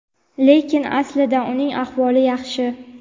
lekin aslida uning ahvoli yaxshi.